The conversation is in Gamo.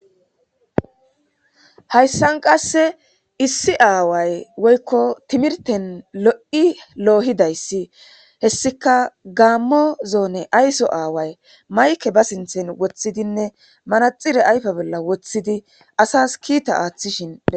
hayssan qasse issi aaway woykko timirten lo'i loohidayssi hessika gaammo zoone ayso aaway mayke ba sinthen wothidinne manaxire ayfa bolla woththidi asas kiita aaththishin be'ys